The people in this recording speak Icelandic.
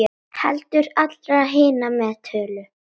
Heldur allra hinna með tölu.